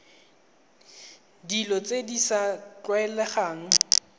dilo tse di sa tlwaelegang